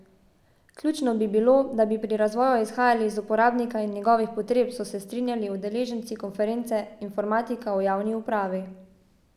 Ključno bi bilo, da bi pri razvoju izhajali iz uporabnika in njegovih potreb, so se strinjali udeleženci konference Informatika v javni upravi.